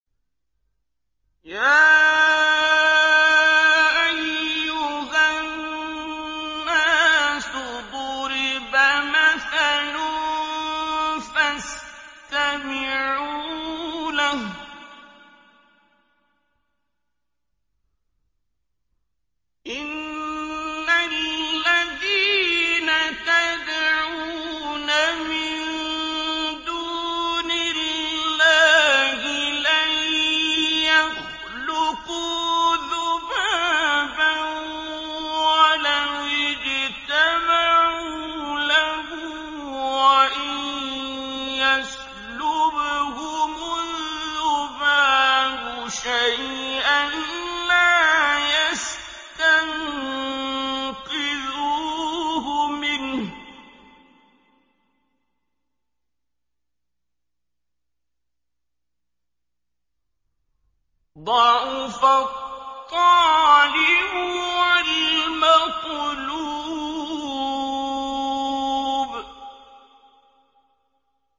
يَا أَيُّهَا النَّاسُ ضُرِبَ مَثَلٌ فَاسْتَمِعُوا لَهُ ۚ إِنَّ الَّذِينَ تَدْعُونَ مِن دُونِ اللَّهِ لَن يَخْلُقُوا ذُبَابًا وَلَوِ اجْتَمَعُوا لَهُ ۖ وَإِن يَسْلُبْهُمُ الذُّبَابُ شَيْئًا لَّا يَسْتَنقِذُوهُ مِنْهُ ۚ ضَعُفَ الطَّالِبُ وَالْمَطْلُوبُ